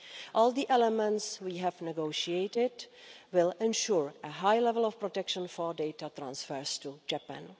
All the elements we have negotiated will ensure a high level of protection for data transfers to Japan.